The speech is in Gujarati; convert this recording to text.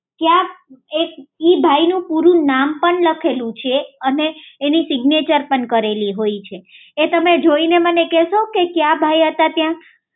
એ ભાઈ નું પૂરું નામ પણ લખેલું છે અને એનું સિગ્નેચર પણ કરેલું હોય છે એ તમે જોઈ ને મને કહેશો કે ક્યાં ભાઈ હતા ત્યાં